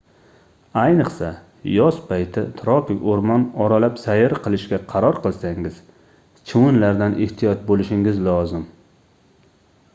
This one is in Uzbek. ayniqsa yoz payti tropik oʻrmon oralab sayr qilishga qaror qilsangiz chivinlardan ehtiyot boʻlishingiz lozim